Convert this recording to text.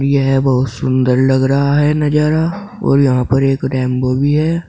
यह बहुत सुंदर लग रहा है नजारा और यहां पर एक रेनबो भी है।